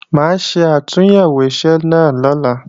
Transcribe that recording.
Mà á ṣe àtúnyẹ̀wò iṣẹ́ náà lọ́la